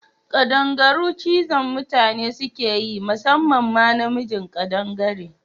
Kaɗangaru cizon mutane sukeyi musamman ma na mijin ƙadangare